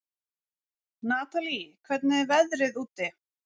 Natalí, hvernig er veðrið úti?